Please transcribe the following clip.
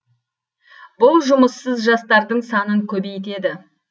бұл жұмыссыз жастардың санын көбейтеді